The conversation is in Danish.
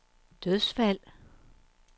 dødsfald